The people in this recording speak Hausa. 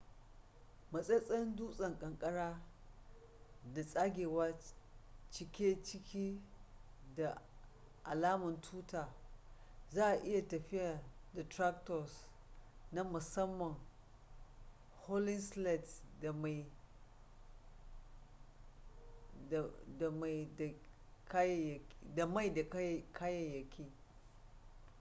matsatsen dusan kankara da tsagewa cike ciki da alaman tuta za a iya tafiyan da tractors na musamman hauling sleds da mai da kayayyaki